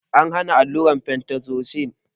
An hana allurar fentazosin